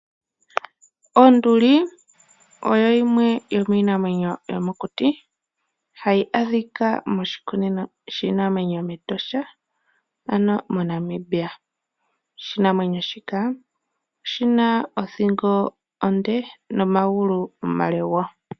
Onduli oyo yimwe yomiinamwenyo yomokuti hayi adhika moshikunino shiinamwenyo mEtosha moNamibia. Oshinamwenyo shika oshina othingo onde nomagulu omale.